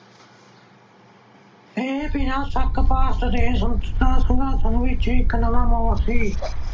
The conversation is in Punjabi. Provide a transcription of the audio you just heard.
ਇਹ ਬਿਨਾਂ ਸ਼ੱਕ ਭਾਰਤ ਦੇ ਸੁਤੰਤਰਤਾ ਸੰਗਰਾਮ ਵਿੱਚ ਇਕ ਨਵਾਂ ਮੋੜ ਸੀ।